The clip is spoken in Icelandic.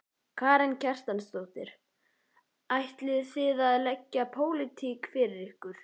Karen Kjartansdóttir: Ætlið þið að leggja pólitík fyrir ykkur?